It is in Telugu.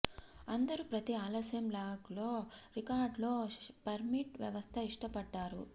అందరు ప్రతి ఆలస్యం లాగ్ లో రికార్డ్ లో పర్మిట్ వ్యవస్థ ఇష్టపడ్డారు